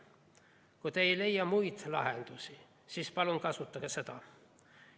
Kui te ei leia muid lahendusi, siis palun kasutage seda.